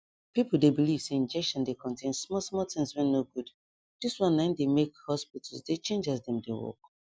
people de believe say injection de contain small small things wen no goodthis wan na him de make hospitals de chnage as dem de work